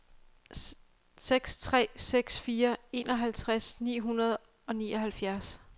seks tre seks fire enoghalvtreds ni hundrede og nioghalvfjerds